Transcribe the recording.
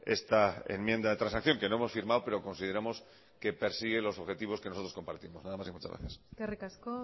esta enmienda de transacción que no hemos firmado pero consideramos que persigue los objetivos que nosotros compartimos nada más y muchas gracias eskerrik asko